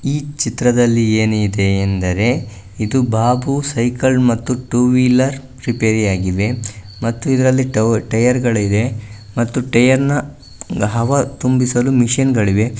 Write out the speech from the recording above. ಈ ಚಿತ್ರದಲ್ಲಿ ಏನಿದೆ ಎಂದರೆ ಇದು ಬಾಬು ಸೈಕಲ್ ಮತ್ತು ಟೂ ವೀಲರ್ ರಿಪೈರಿ ಆಗಿದೆ ಮತ್ತು ಇದರಲ್ಲಿ ಟವರ್-ಟೈಯರ್ಗಳಿದೆ ಮತ್ತು ಟೈಯರ್ ನ ಹವಾ ತುಂಬಿಸಲು ಮಷೀನ್ಗಳಿವೆ .